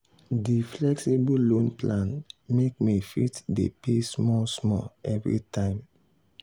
di flexible loan plan make me fit dey pay small small every time.